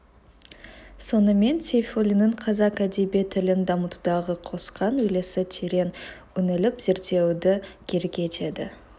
сонымен сейфуллиннің қазақ әдеби тілін дамытудағы қосқан үлесі терең үңіліп зерттеуді керек етеді